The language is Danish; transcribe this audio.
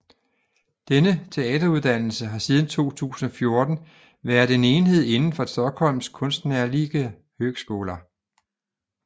Denne teateruddannelse har siden 2014 været en enhed indenfor Stockholms konstnärliga högskola